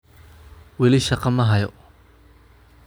Weli shaqo ma hayo